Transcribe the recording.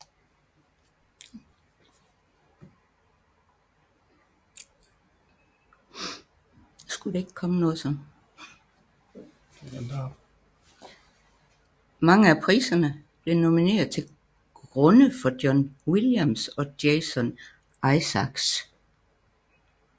Mange af priserne blev nomineret til grunde for John Williams og Jason Isaacs